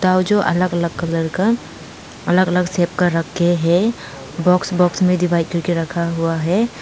जो अलग अलग कलर का अलग अलग कर शेफ कर रखे हैं बॉक्स बॉक्स में डिवाइस करके रखा हुआ है।